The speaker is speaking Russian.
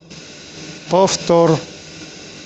повтор